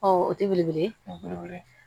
o tɛ belebele ye wele